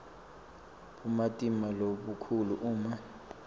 bumatima lobukhulu uma